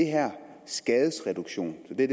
her skadesreduktionstiltag